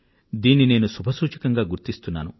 దీన్ని నేను శుభసూచకంగా గుర్తిస్తున్నాను